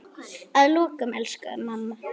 Að lokum, elsku mamma.